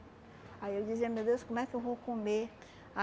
Aí eu dizia, meu Deus, como é que eu vou comer?